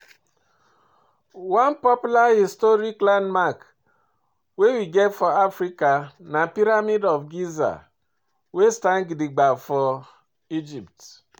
One popular historic landmark wey we get for Africa na Pyramid of Giza wey stand gidigba for Egypt